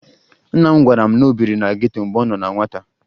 Nna m gwara m na o biri na geto mgbe ọ nọ na nwata